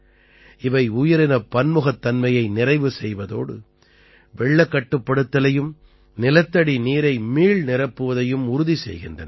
இவை உயிரினப் பன்முகத்தன்மையை நிறைவு செய்வதோடு வெள்ளக் கட்டுப்படுத்தலையும் நிலத்தடி நீரை மீள்நிரப்புவதையும் உறுதி செய்கின்றன